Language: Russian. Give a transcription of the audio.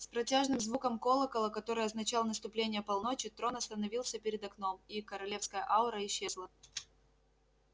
с протяжным звуком колокола который означал наступление полночи трон остановился перед окном и королевская аура исчезла